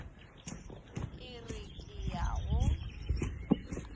ke re ke ya go